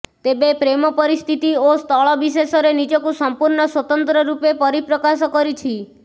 ତେବେ ପ୍ରେମ ପରିସ୍ଥିତି ଓ ସ୍ଥଳବିଶେଷରେ ନିଜକୁ ସମ୍ପୂର୍ଣ୍ଣ ସ୍ୱତନ୍ତ୍ର ରୂପେ ପରିପ୍ରକାଶ କରିଛି